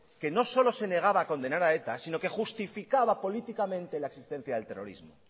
que no solo se negaba a condenar a eta sino que justificaba políticamente la existencia del terrorismo